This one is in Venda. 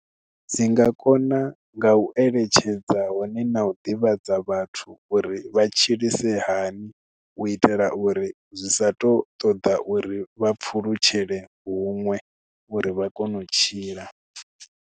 Dzi nga kona nga u eletshedza hone na u ḓivhadza vhathu uri vha tshilise hani u itela uri zwi sa tu ṱoḓa uri vha pfulutshele huṅwe uri vha kone u tshila.